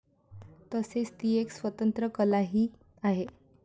तसेच ती एक स्वतंत्र कलाही आहे.